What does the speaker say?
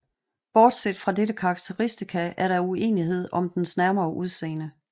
Bortset fra dette karakteristika er der uenighed om dens nærmere udseende